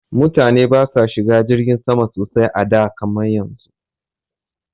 Mutane ba sa shiga jirgin sama sosai a da kaman yanzu